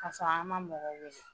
Kasɔrɔ an ma mɔgɔ wele